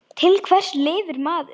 Til hvers lifir maður?